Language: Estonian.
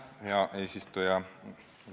Hea eesistuja!